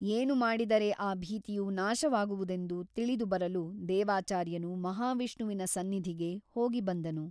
ಏನು ಮಾಡಿದರೆ ಆ ಭೀತಿಯು ನಾಶವಾಗುವುದೆಂದು ತಿಳಿದುಬರಲು ದೇವಾಚಾರ್ಯನು ಮಹಾವಿಷ್ಣುವಿನ ಸನ್ನಿಧಿಗೆ ಹೋಗಿಬಂದನು.